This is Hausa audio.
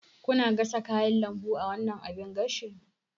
Kuna gasa kayan lambu a wannan abin gashin?